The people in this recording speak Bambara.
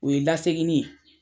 O ye lasegin in ye.